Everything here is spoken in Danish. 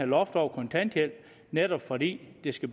loft over kontanthjælpen netop fordi det skal